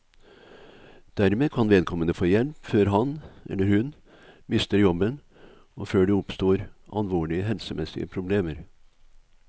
Dermed kan vedkommende få hjelp før han, eller hun, mister jobben og før det oppstår alvorlige helsemessige problemer.